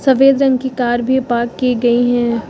सफेद रंग की कार भी पार्क की गई है।